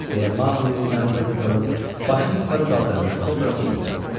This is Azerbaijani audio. deyə Maqlinin yanında qıvrılıb başını yuxarı qaldırmış kobra fısıldadı.